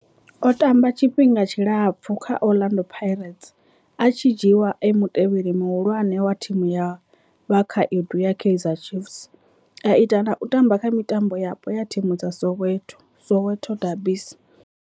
O tamba tshifhinga tshilapfu kha Orlando Pirates, a tshi dzhiiwa e mutevheli muhulwane wa thimu ya vhakhaedu ya Kaizer Chiefs, a ita na u tamba kha mitambo yapo ya thimu dza Soweto, Soweto derbies.